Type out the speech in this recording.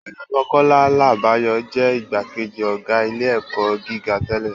Ọ̀jọ̀gbọ́n Kọ́lá Làbáyọ̀ jẹ́ igbákejì ọ̀gá ilé-ẹ̀kọ́ gíga tẹ́lẹ̀